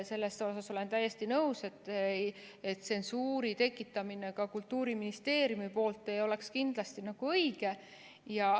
Sellega olen täiesti nõus, et tsensuuri tekitamine Kultuuriministeeriumi poolt ei oleks õige.